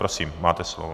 Prosím, máte slovo.